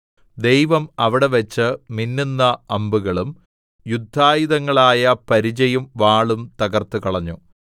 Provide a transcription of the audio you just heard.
ദൈവം അവിടെവച്ച് മിന്നുന്ന അമ്പുകളും യുദ്ധായുധങ്ങളായ പരിചയും വാളും തകർത്തുകളഞ്ഞു സേലാ